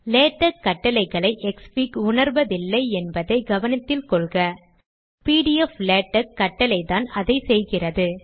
LaTeX கட்டளைகளை xfig உணர்வதில்லை என்பதை கவனத்தில் கொள்க பிடிஎப்ளாடெக்ஸ் கட்டளைதான் அதை செய்கிறது